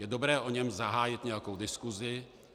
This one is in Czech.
Je dobré o něm zahájit nějakou diskusi.